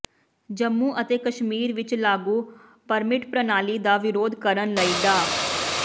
ਜੰਮੂ ਅਤੇ ਕਸ਼ਮੀਰ ਵਿਚ ਲਾਗੂ ਪਰਮਿਟ ਪ੍ਰਣਾਲੀ ਦਾ ਵਿਰੋਧ ਕਰਨ ਲਈ ਡਾ